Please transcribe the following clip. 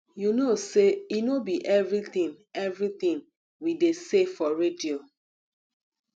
you know say e no be everything everything we dey say for radio